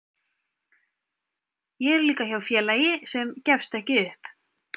Ég er líka hjá félagi sem gefst ekki upp.